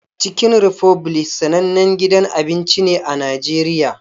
Chicken Republic sanannen gidan abinci ne a Najeriya.